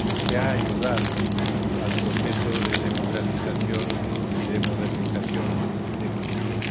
Se ha ayudado al proceso de democratización y de modernización de Turquía.